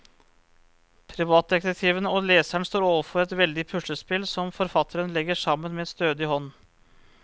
Privatdetektiven og leseren står overfor et veldig puslespill som forfatteren legger sammen med stødig hånd.